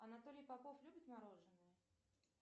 анатолий попов любит мороженое